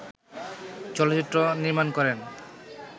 চলচ্চিত্র নির্মাণ করেন